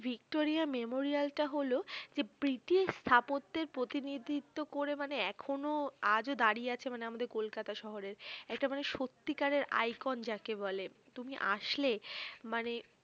Victoria মেমোরিয়ালটা হলো যে প্রীতিস্থাপত্যের প্রতিনিধিত্ব করে মানে এখনো আজও দাঁড়িয়ে আছে মানে আমাদের কলকাতা শহরে একটা মানে সত্যিকারের icon যাকে বলে। তুমি আসলে মানে